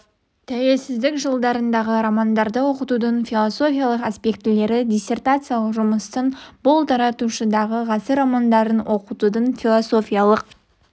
тәуелсіздік жылдарындағы романдарды оқытудың философиялық аспектілері диссертациялық жұмыстың бұл тараушасында ғасыр романдарын оқытудың философиялық